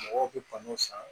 Mɔgɔw bi kan'u san